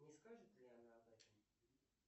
не скажет ли она об этом